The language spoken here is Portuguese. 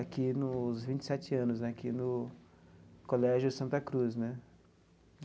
Aqui nos vinte e sete anos né, aqui no Colégio Santa Cruz, né?